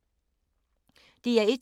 DR1